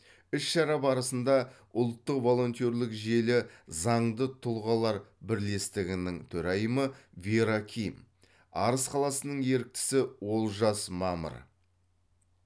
іс шара барысында ұлттық волонтерлік желі заңды тұлғалар бірлестігінің төрайымы вера ким арыс қаласының еріктісі олжас мамыр